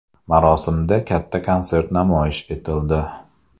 Marosimda katta konsert namoyish etildi.